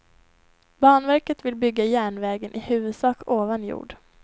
Banverket vill bygga järnvägen i huvudsak ovan jord.